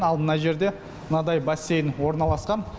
ал мына жерде мынадай бассейн орналасқан